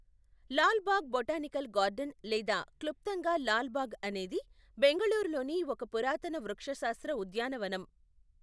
Lal Bagh botanical garden లేదా క్లుప్తంగా లాల్ బాగ్ అనేది బెంగళూరులోని ఒక పురాతన వృక్షశాస్త్ర ఉద్యానవనం.